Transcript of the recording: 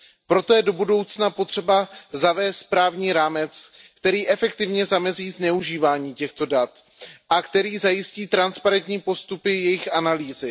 Proto je do budoucna potřeba zavést právní rámec, který efektivně zamezí zneužívání těchto dat a který zajistí transparentní postupy jejich analýzy.